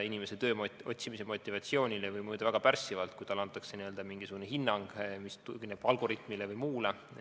Inimese tööotsimise motivatsioonile võib mõjuda väga pärssivalt, kui talle antakse mingisugune hinnang, mis tugineb algoritmile või millelegi muule.